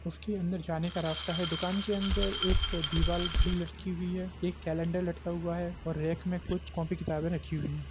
इसके अंदर जाने का रस्ता है दुकान के अंदर एक दिवाल घड़ी लटकी हुई एक केलेन्डर लटका हुआ है और रैक में कुछ कॉपी किताबे रखी हुई हैं ।